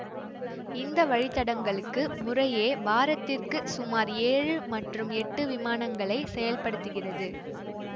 இந்த வழி தடங்களுக்கு முறையே வாரத்திற்கு சுமார் ஏழு மற்றும் எட்டு விமானங்களை செயல்படுத்துகிறது